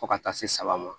Fo ka taa se saba ma